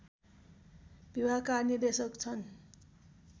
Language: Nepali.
विभागका निर्देशक छन्